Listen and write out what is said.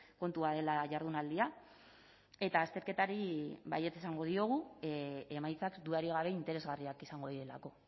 kontua dela jardunaldia eta azterketari baietz esango diogu emaitzak dudarik gabe interesgarriak izango direlako